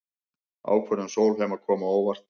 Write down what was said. Ákvörðun Sólheima kom á óvart